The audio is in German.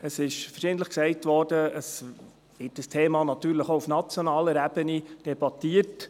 Verschiedentlich wurde gesagt, dieses Thema werde natürlich auch auf nationaler Ebene debattiert.